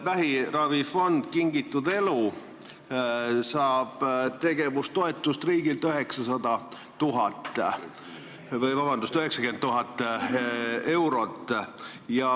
Vähiravifond "Kingitud elu" saab riigilt tegevustoetust 90 000 eurot.